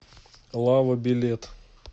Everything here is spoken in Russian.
лава билет